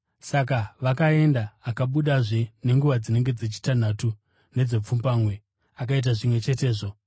Saka vakaenda. “Akabudazve nenguva dzinenge dzechitanhatu nedzepfumbamwe akaita zvimwe chetezvo.